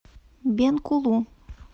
бенкулу